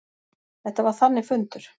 Þetta var þannig fundur.